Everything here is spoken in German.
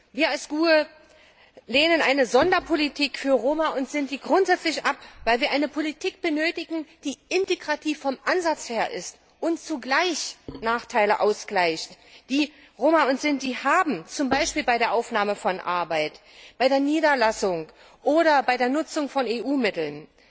Wir als GUE lehnen eine Sonderpolitik für Roma und Sinti grundsätzlich ab, weil wir eine Politik benötigen, die vom Ansatz her integrativ ist und zugleich Nachteile ausgleicht, die Roma und Sinti haben, zum Beispiel bei der Aufnahme von Arbeit, bei der Niederlassung oder bei der Nutzung von EU Mitteln.